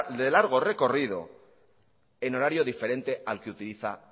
de largo recorrido en horario diferente al que utiliza